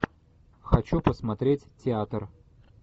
хочу посмотреть театр